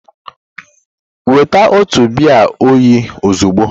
Weta m otu biya oyi ozugbo!